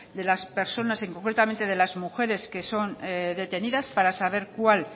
de las personas y concretamente de las mujeres que son detenidas para saber cuál